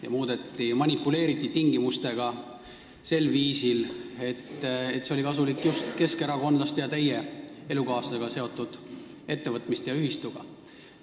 Tingimustega hakati manipuleerima sel viisil, et see oli kasulik just keskerakondlaste ja teie elukaaslasega seotud ettevõtmistele ja ühistule.